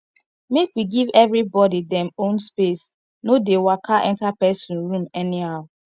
make we give everybody dem own space no dey waka enter person room anyhow